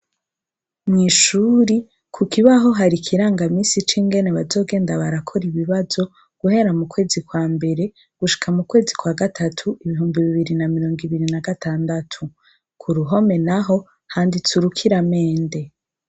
Mw'ishuri, ku kibaho hari ikirangamisi c'ingene bazogenda barakora ibibazo guhera mu kwezi kwa mbere gushika mu kwezi kwa gatatu ibihumbi bibiri na mirongo ibiri na gatandatu. Ku ruhome naho handitse urukiramende.